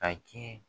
A kɛ